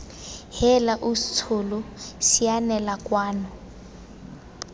heela ausi tsholo sianela kwano